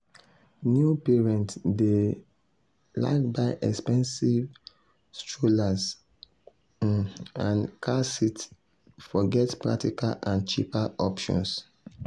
new parents dey um like buy expensive strollers um and car seats forget practical and cheaper options.